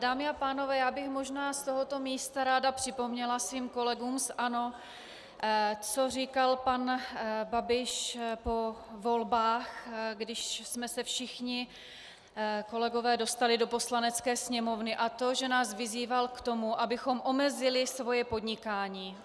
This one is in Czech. Dámy a pánové, já bych možná z tohoto místa ráda připomněla svým kolegům z ANO, co říkal pan Babiš po volbách, když jsme se všichni kolegové dostali do Poslanecké sněmovny, a to že nás vyzýval k tomu, abychom omezili svoje podnikání.